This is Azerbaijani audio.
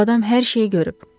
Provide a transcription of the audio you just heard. Bu adam hər şeyi görüb.